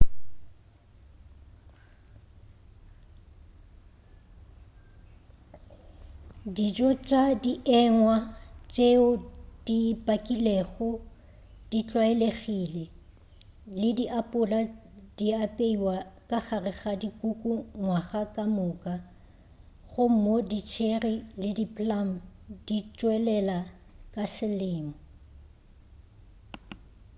dijo tša dienywa tšeo di pakilwego di tlwaelegile le diapola di apeiwa ka gare ga dikuku ngwaga ka moka gomme di cherry le di plum di tšwelela ka selemo